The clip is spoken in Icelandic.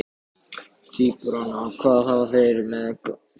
Tvíburana, hvað hafa þeir með þetta að gera?